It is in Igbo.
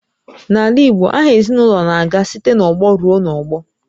N'ala igbo aha ezinụlọ na-aga site n'ọgbọ ruo n'ọgbọ